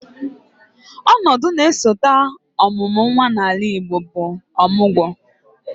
Ọnọdụ na-esote ọmụmụ nnwa n'ala Igbo bụ ọmụgwọ